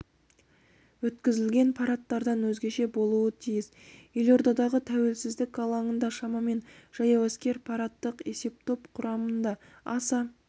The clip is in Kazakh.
өткізілген парадтардан өзгеше болуы тиіс елордадағы тәуелсіздік алаңында шамамен жаяу әскер парадтық есептоп құрамында аса